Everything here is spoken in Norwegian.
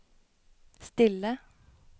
stille